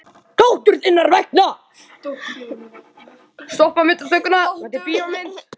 Dóttur þinnar vegna.